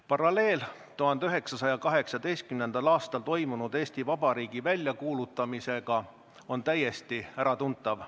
Paralleel 1918. aastal toimunud Eesti Vabariigi väljakuulutamisega on täiesti äratuntav.